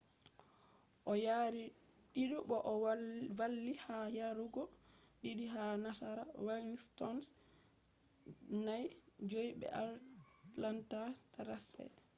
o yari 2 bo o valli ha yarugo 2 ha nasara washington’s 5-3 be atlanta thrashers